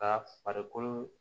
Ka farikolo